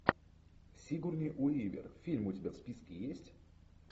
сигурни уивер фильм у тебя в списке есть